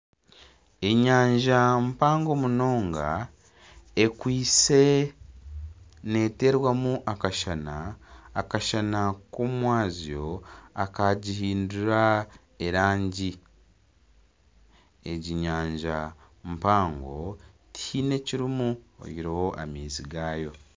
Enyanja mpango munonga eriyo neeterwamu akashana, akashana k'omu mwabazyo akagihindura erangi, egi nyanja mpango tihaine ekirimu oyihireho amaizi gaayo.